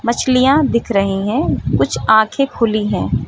मछलियां दिख रही है कुछ आंखें खुली है।